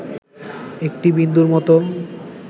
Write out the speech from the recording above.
একটি বিন্দুর মত